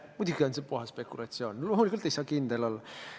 Muidugi on see puhas spekulatsioon, loomulikult ei saa kindel olla.